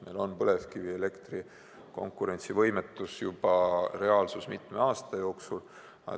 Meil on põlevkivielektri konkurentsivõimetus juba reaalsus mitu aastat.